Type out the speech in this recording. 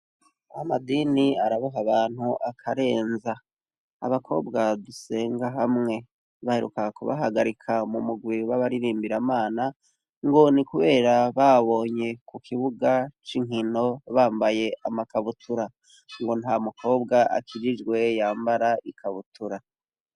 Amadini araboha abantu akarenza. Abakobwa dusenga hamwe baheruka kubahagarika mu murwi w'abaririmbiramana, ngo ni kubera bababonye ku kibuga c'inkino bambaye amakabutura. Ngo nta mukobwa akijijwe yambara ikabutura.